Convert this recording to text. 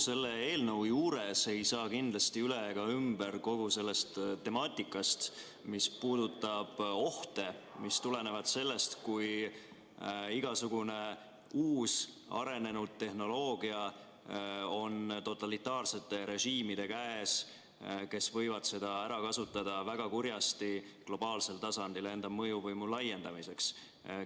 Selle eelnõu juures ei saa kindlasti üle ega ümber temaatikast, mis puudutab ohte, mis tulenevad sellest, kui igasugune uus, arenenud tehnoloogia on totalitaarsete režiimide käes, kes võivad seda globaalsel tasandil enda mõjuvõimu laiendamiseks väga kurjasti ära kasutada.